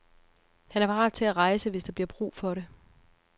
Han er parat til at rejse, hvis der bliver brug for det.